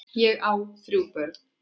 Ég á þrjú börn.